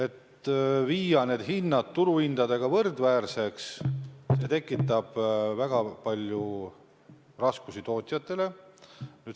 Kui viia hinnad turuhindadega võrdväärseks, tekib tootjatel väga palju raskusi.